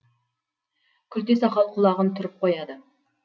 күлте сақал құлағын түріп қояды